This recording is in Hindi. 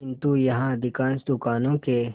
किंतु यहाँ अधिकांश दुकानों के